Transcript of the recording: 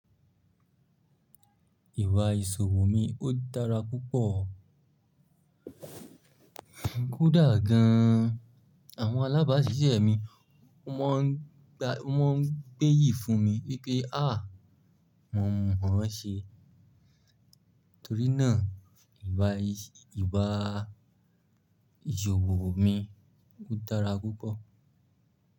Ìwà ìṣòwò mi ó dára púpọ̀. Kódà gan an àwọn alábàásisẹ́ mi ó mọ́ n gbé yìí fún mi wípé, “áà, mò mọ̀ ọ́n ṣe.” Torí náà ìwà ìṣòwò mi ó dára púpọ̀.